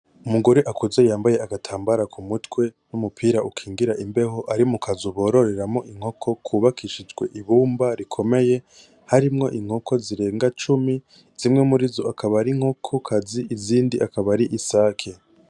Umugore akuze yambaye agatambara kumutwe n'umupira ukingira imbeho, ari mu kazu bororeramwo inkoko kubakishijwe ibumba rikomeye, harimwo inkoko zirenga cumi zimwe muri zo akaba ari inkokokazi izindi akaba ari isake.